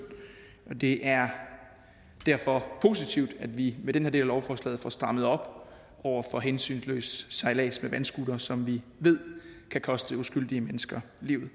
det er derfor positivt at vi med denne del af lovforslaget får strammet op over for hensynsløs sejlads med vandscootere som vi ved kan koste uskyldige mennesker livet